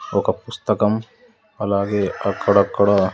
ఒక పుస్తకం అలాగే అక్కడక్కడ--